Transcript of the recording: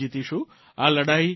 આ લડાઇ જીતી જઇશું